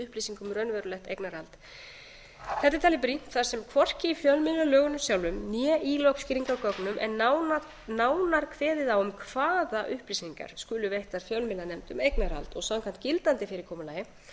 um raunverulegt eignarhald þetta er talið brýnt þar sem hvorki í fjölmiðlalögunum sjálfum né í lögskýringargögnum er nánar kveðið á um hvaða upplýsingar skulu veittar fjölmiðlanefnd um eignarhald samkvæmt gildandi fyrirkomulagi er